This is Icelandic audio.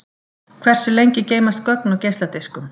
Hversu lengi geymast gögn á geisladiskum?